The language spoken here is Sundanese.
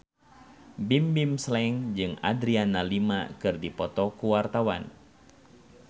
Bimbim Slank jeung Adriana Lima keur dipoto ku wartawan